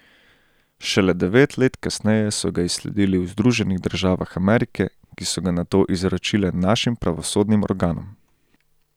Šele devet let kasneje so ga izsledili v Združenih državah Amerike, ki so ga nato izročile našim pravosodnim organom.